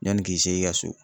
Yanni k'i se i ka so